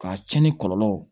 K'a cɛnni kɔlɔlɔw